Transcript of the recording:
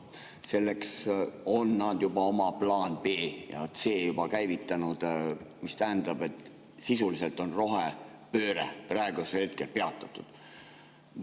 Selleks on nad juba oma plaanid B ja C käivitanud, mis tähendab, et sisuliselt on rohepööre praegusel hetkel peatatud.